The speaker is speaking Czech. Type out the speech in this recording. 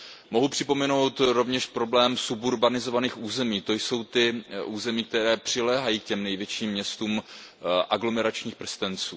Mohu připomenout rovněž problém suburbanizovaných území, to jsou ta území, která přiléhají k těm největším městům formou aglomeračních prstenců.